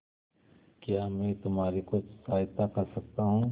क्या मैं तुम्हारी कुछ सहायता कर सकता हूं